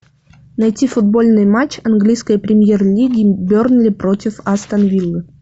найти футбольный матч английской премьер лиги бернли против астон виллы